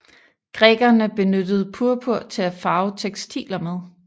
Grækerne benyttede purpur til at farve tekstiler med